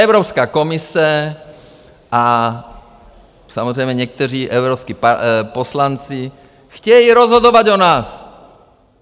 Evropská komise a samozřejmě někteří evropští poslanci chtějí rozhodovat o nás.